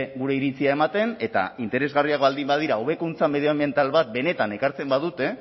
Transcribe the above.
gure iritzia ematen eta interesgarriak baldin badira hobekuntza medioanbiental bat benetan ekartzen badute